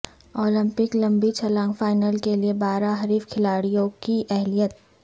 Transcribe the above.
Olympic لمبی چھلانگ final کے لئے بارہ حریف کھلاڑیوں کی اہلیت